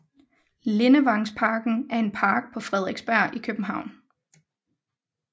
Lindevangsparken er en park på Frederiksberg i København